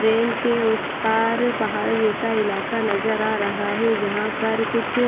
train के उस पार पहाड़ जैसा इलाका नजर आ रहा है जहां पर कुछ--